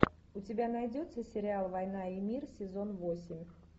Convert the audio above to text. у тебя найдется сериал война и мир сезон восемь